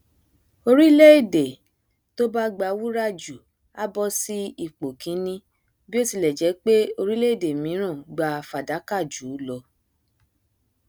orílẹèdè tó bá gba wúrà jù a bọ sí ipò kíní bíótilẹjẹ pé orílẹèdè míràn gba fàdákà jù ú lọ